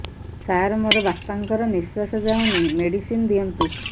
ସାର ମୋର ବାପା ଙ୍କର ନିଃଶ୍ବାସ ଯାଉନି ମେଡିସିନ ଦିଅନ୍ତୁ